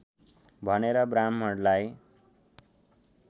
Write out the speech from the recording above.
भनेर ब्राहृमणलाई